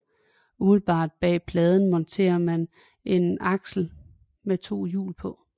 Umiddelbart bag pladen monterer man en aksel med to hjul